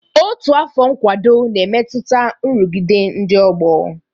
Otu afọ nkwado na-emetụta nrụgide ndị ọgbọ